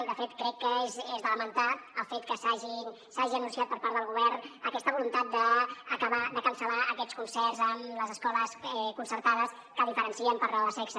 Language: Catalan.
i de fet crec que és de lamentar el fet que s’hagi anunciat per part del govern aquesta voluntat d’acabar de cancel·lar aquests concerts amb les escoles concertades que diferencien per raó de sexe